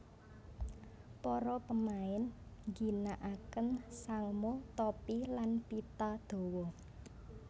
Para pemain ngginakaken sangmo topi lan pita dawa